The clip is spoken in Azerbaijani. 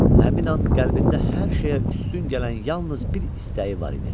Həmin an qəlbində hər şeyə üstün gələn yalnız bir istəyi var idi.